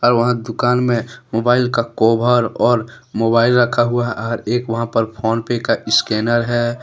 और वहां दुकान में मोबाइल का कौवर और मोबाइल रखा हुआ है और एक वहां पर फोन पे का इस्कैनर है।